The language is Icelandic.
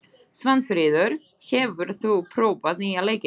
Svanfríður, hefur þú prófað nýja leikinn?